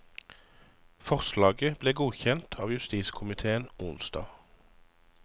Forslaget ble godkjent av justiskomitéen onsdag.